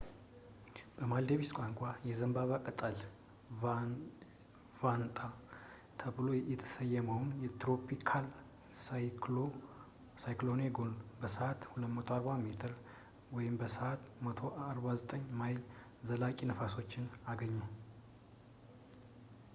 በማልዲቭስ ቋንቋ፣ የዘንባባ ቅጠል ሻንጣ tropical cyclone gonu ተብሎ የተሰየመው ትሮፒካል ሳይክሎኔ ጎኑ፣ በሰዓት 240 ኪ.ሜ በሰዓት 149 ማይል ዘላቂ ነፋሶችን አገኘ